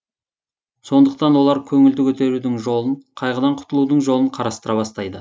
сондықтан олар көңілді көтерудің жолын қайғыдан құтылудың жолын қарастыра бастайды